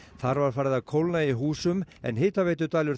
þar var farið að kólna í húsum en